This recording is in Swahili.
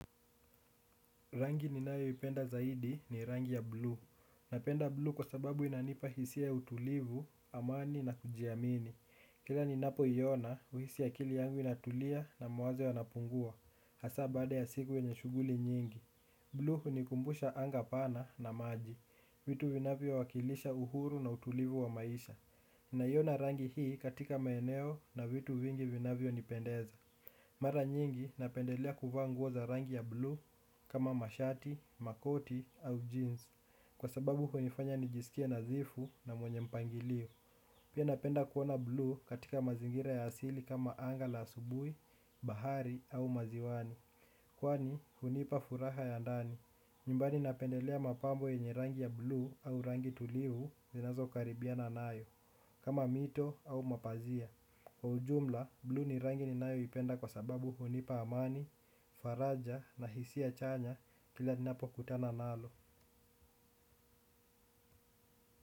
Rangi ninayoipenda zaidi ni rangi ya blue. Napenda blue kwa sababu inanipa hisia ya utulivu, amani na kujiamini. Kila ninapoiona, uhisi akili yangu inatulia na mawazo yanapungua. Hasaa baada ya siku yenye shughuli nyingi. Blue hunikumbusha anga pana na maji. Vitu vinavyowakilisha uhuru na utulivu wa maisha. Ninaiona rangi hii katika maeneo na vitu vingi vinavyonipendeza. Mara nyingi napendelea kuvaa nguo za rangi ya blue kama mashati, makoti au jeans. Kwa sababu hunifanya nijisikie nadhifu na mwenye mpangilio. Pia napenda kuona blue katika mazingira ya asili kama anga la asubui, bahari au maziwani. Kwani hunipa furaha ya ndani. Nyumbani napendelea mapambo yenye rangi ya blue au rangi tulivu zinazokaribiana nayo. Kama mito au mapazia. Kwa ujumla, blue ni rangi ninayoipenda kwa sababu hunipa amani, faraja na hisia chanya kila ninapokutana nalo.